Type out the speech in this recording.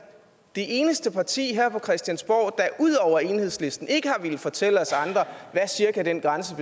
det eneste parti her på christiansborg der ud over enhedslisten ikke har villet fortælle os andre hvad den grænse